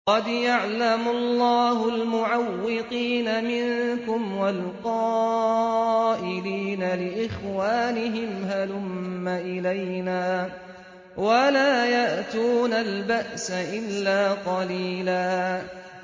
۞ قَدْ يَعْلَمُ اللَّهُ الْمُعَوِّقِينَ مِنكُمْ وَالْقَائِلِينَ لِإِخْوَانِهِمْ هَلُمَّ إِلَيْنَا ۖ وَلَا يَأْتُونَ الْبَأْسَ إِلَّا قَلِيلًا